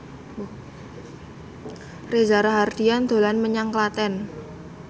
Reza Rahardian dolan menyang Klaten